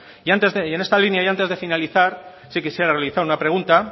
y en esta línea y antes de finalizar sí quisiera realizar una pregunta